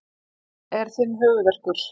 Það er þinn höfuðverkur.